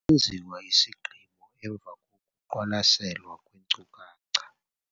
Kwenziwa isigqibo emva kokuqwalaselwa kweenkcukacha.